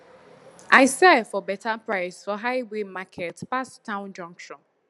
i sell for better price for highway market pass town junction